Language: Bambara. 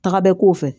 Taga bɛɛ ko fɛ